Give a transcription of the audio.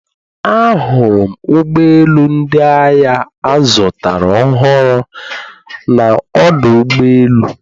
Ahụrụ m ụgbọ elu ndị agha azụtara ọhụrụ na ọdụ ụgbọ elu